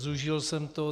Zúžil jsem to.